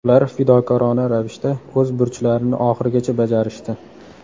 Ular fidokorona ravishda o‘z burchlarini oxirigacha bajarishdi.